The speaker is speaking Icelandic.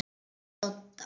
Með Dodda?